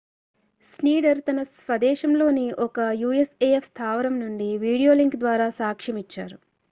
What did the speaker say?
Schneider తన స్వదేశంలోని ఒక usaf స్థావరం నుండి వీడియోలింక్ ద్వారా సాక్ష్యమిచ్చారు